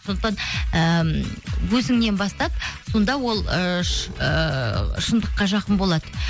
сондықтан ііі өзіңнен бастап сонда ол ы ыыы шындыққа жақын болады